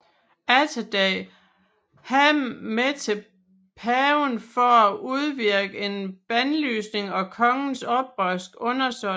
Atterdag ham med til paven for at udvirke en bandlysning af kongens oprørske undersåtter